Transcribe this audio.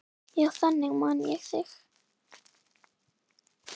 Já, þannig man ég þig.